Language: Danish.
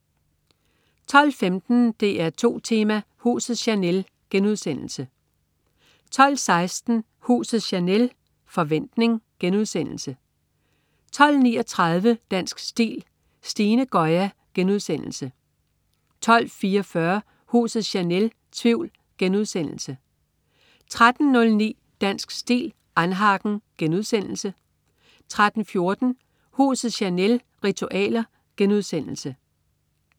12.15 DR2 Tema: Huset Chanel* 12.16 Huset Chanel. Forventning* 12.39 Dansk Stil: Stine Goya* 12.44 Huset Chanel. Tvivl* 13.09 Dansk Stil: annhagen* 13.14 Huset Chanel. Ritualer*